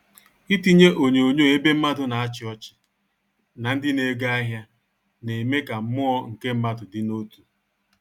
Ịtinyé onyonyo ébé mmádụ nà áchi ọchị nà ndị na ego ahịa na-eme ka mmụọ nke mmadụ dị n'otù